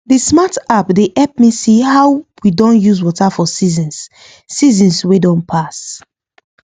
the smart app dey help me see how we don use water for seasons seasons wey don pass